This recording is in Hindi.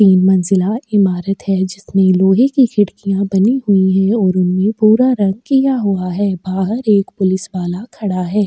तीन मंजिला इमारत है जिसमें लोहे की खिड़कियाँ बनी हुई हैं और उनमें भूरा रंग किया हुआ है बाहर एक पुलिस वाला खड़ा है।